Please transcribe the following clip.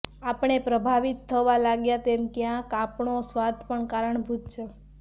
આપણે પ્રભાવિત થવા લાગ્યા તેમાં ક્યાંક આપણો સ્વાર્થ પણ કારણભૂત છે